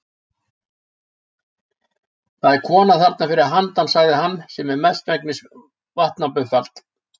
Það er kona þarna fyrir handan sagði hann, sem er mestmegnis vatnabuffall.